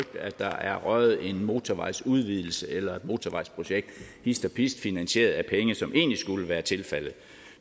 at der er røget en motorvejsudvidelse eller et motorvejsprojekt hist og pist finansieret af penge som egentlig skulle være tilfaldet